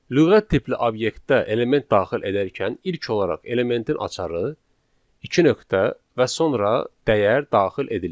Lüğət tipli obyektdə element daxil edərkən ilk olaraq elementin açarı, iki nöqtə və sonra dəyər daxil edilir.